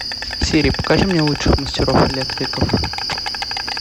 сири покажи мне лучших мастеров электриков